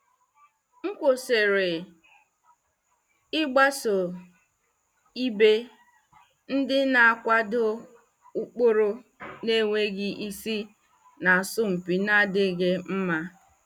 M kwụsịrị ịgbaso ibe ndị na-akwado ụkpụrụ na-enweghị isi na asọmpi na-adịghị mma.